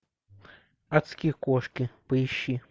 адские кошки поищи